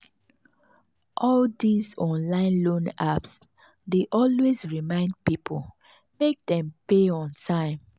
all these online loan apps dey always remind people make dem pay on time.